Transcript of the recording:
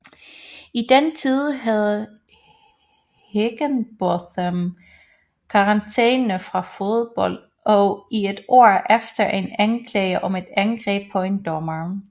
I den tid havde Higginbotham karantæme fra fodbold i et år efter en anklage om et angreb på en dommer